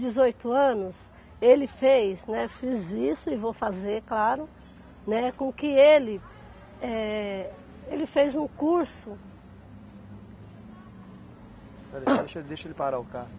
dezoito anos, ele fez, né, fiz isso e vou fazer, claro, né, com que ele, eh, ele fez um curso Espera aí, só deixa, deixa ele parar o carro.